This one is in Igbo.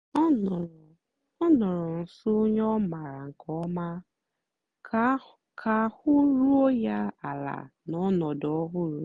ọ nọ̀rọ̀ ọ nọ̀rọ̀ nsó ònyè ọ́ mààra nkè ọ̀ma kà àhụ́ rùó ya àla n'ọnọ́dụ́ ọ̀hụrụ́.